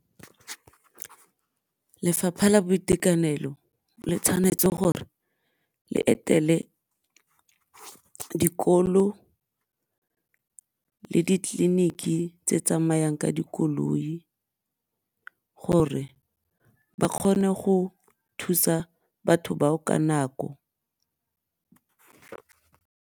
Lefapha la Boitekanelo le tshwanetse gore le etele dikolo le tleliniki tse tsamayang ka dikoloi gore ba kgone go thusa batho bao ka nako.